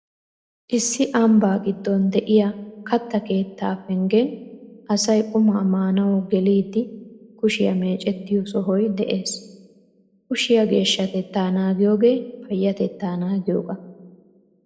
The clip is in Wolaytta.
Issi ambbaa giddon de'iya kattta keettaa penggen asay qumaa maanawu geliiddi kushiya meecettiyo sohoy de'ees. Kushiya geeshshatettaa naagiyogee payyatettaa naagiyogaa.